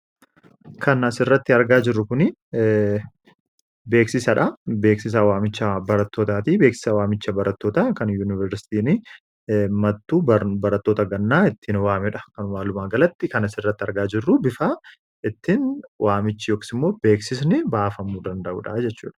Kan as irratti argaa jirru kun beeksisaadha. Beeksisaa waamicha barattootaatii beeksisa waamicha barattoota kan yuuniversitiin mattuu baratoota gannaa ittin waamedha. Kan waaluma galatti kanas irratti argaa jirru bifaa ittin waamichi yookas immoo beeksisni baafamu danda'udha jechuudha.